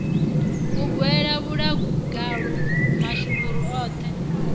u gwela muḽagalu mashuvhuru oṱhe